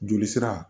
Joli sira